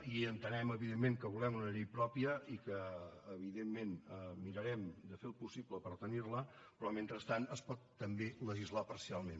i entenem evidentment que volem una llei pròpia i que evidentment mirarem de fer el possible per tenir la però mentrestant es pot també legislar parcialment